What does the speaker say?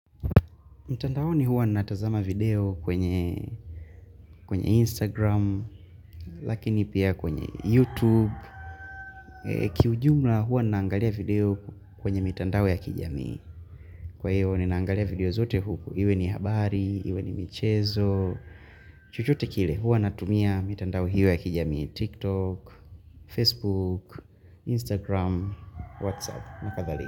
Mitandaoni huwa ninatazama video kwenye kwenye Instagram, lakini pia kwenye YouTube. Kiujumla huwa ninaangalia video kwenye mitandao ya kijamii. Kwa hiyo, ninaangalia video zote huku. Iwe ni habari, iwe ni michezo. Chochote kile, huwa ninatumia mitandao hiyo ya kijamii. TikTok, Facebook, Instagram, Whatsapp na kadhalika.